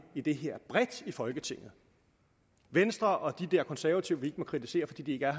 i det her bredt i folketinget venstre og de der konservative vi ikke må kritisere fordi de ikke er